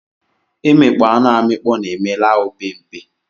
Imikpọ anu amikpọ na eme la opempe